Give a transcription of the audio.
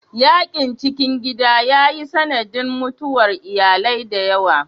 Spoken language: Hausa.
Yakin cikin gida ya yi sanadin mutuwar iyalai da yawa.